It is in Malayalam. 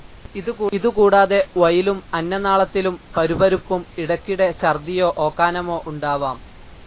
ഇതു കൂടാതെ വയിലും അന്നനാളത്തിലും പരുപരുപ്പും, ഇടക്കിടെ ഛർദ്ദിയോ ഓക്കാനമോ ഉണ്ടാവാം.